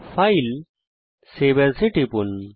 ফাইলেগটগট save as টিপুন